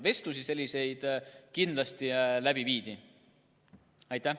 Vestlusi aga kindlasti viidi läbi ka nende inimestega.